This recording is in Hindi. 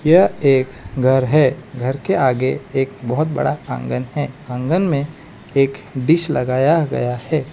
यह एक घर है घर के आगे एक बहुत बड़ा आंगन है आंगन में एक डिश लगाया गया है।